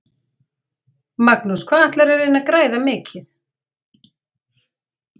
Magnús: Hvað ætlarðu að reyna að græða mikið?